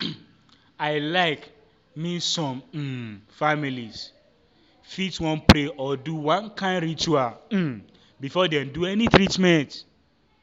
i like mean some um families fit wan pray or do one kind ritual um before dem do any treatment.